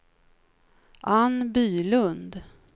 Anne Bylund